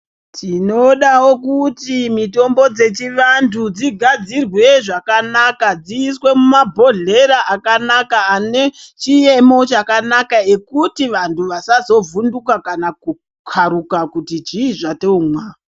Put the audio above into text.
Tinodawo kuti mitombo dzechivantu dzigadzirwe zvakanaka, dziiswe mumabhodhlera akanaka ane chiemo chakanaka ekuti vanhu vasazovhunduka kana kukharuka kuti zvii zvotomwa.